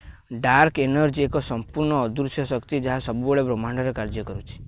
dark energy ଏକ ସଂପୂର୍ଣ୍ଣ ଅଦୃଶ୍ୟ ଶକ୍ତି ଯାହା ସବୁବେଳେ ବ୍ରହ୍ମାଣ୍ଡରେ କାର୍ଯ୍ୟ କରୁଛି